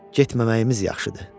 Getməməyimiz yaxşıdır.